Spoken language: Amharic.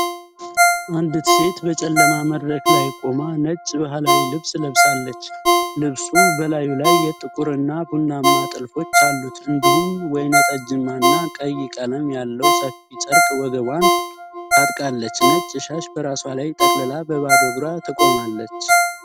አንዲት ሴት በጨለማ መድረክ ላይ ቆማ ነጭ ባህላዊ ልብስ ለብሳለች። ልብሱ በላዩ ላይ ጥቁርና ቡናማ ጥልፎች አሉት፣ እንዲሁም ወይንጠጃማና ቀይ ቀለም ያለው ሰፊ ጨርቅ ወገቧን ታጥቃለች። ነጭ ሻሽ በራሷ ላይ ጠቅልላ በባዶ እግሯ ትቆማለች።